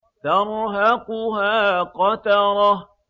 تَرْهَقُهَا قَتَرَةٌ